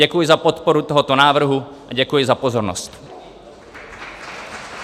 Děkuji za podporu tohoto návrhu a děkuji za pozornost.